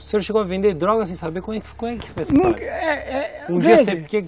O senhor chegou a vender droga sem saber como é que foi a história